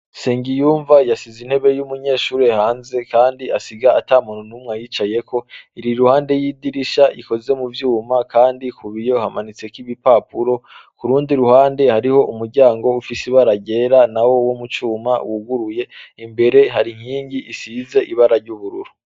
Nsengiyumva yasiz'intebe y'umunyeshure hanze kand' asig' atamuntu n'umw' ayicayek' iriruhande y' idirish' ikozwe mu vyuma kandi kubiyo hamanits' ibipapuro, kurundi ruhande harih' umuryang' ufis' ibara ryera nawo wo mucuma wuguruye, imbere har' inking' isiz' ibara ry'ubururu.